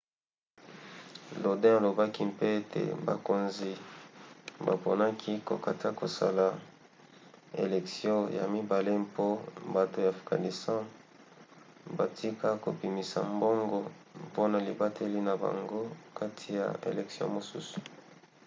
lodin alobaki mpe ete bakonzi baponaki kokata kosala elektio ya mibale mpo bato ya afghanistan batika kobimisa mbongo mpona libateli na bango kati ya elektio mosusu